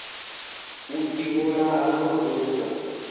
u ivhulaha na u sa